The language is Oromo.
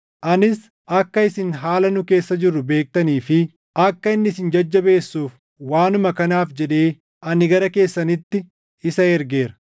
Anis akka isin haala nu keessa jirru beektanii fi akka inni isin jajjabeessuuf, waanuma kanaaf jedhee ani gara keessanitti isa ergeera.